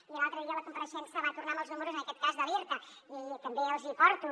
i l’altre dia a la compareixença va tornar amb els números en aquest cas de l’irta i també els hi porto